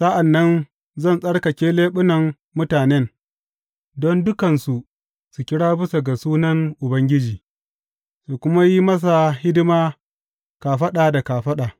Sa’an nan zan tsarkake leɓunan mutanen, don dukansu su kira bisa ga sunan Ubangiji su kuma yi masa hidima kafaɗa da kafaɗa.